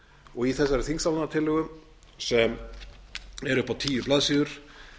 og í þessari þingsályktunartillögu sem er upp á tíu blaðsíður